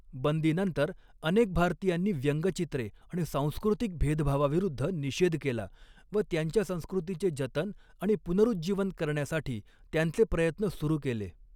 बंदीनंतर, अनेक भारतीयांनी व्यंगचित्रे आणि सांस्कृतिक भेदभावाविरुद्ध निषेध केला व त्यांच्या संस्कृतीचे जतन आणि पुनरुज्जीवन करण्यासाठी त्यांचे प्रयत्न सुरू केले.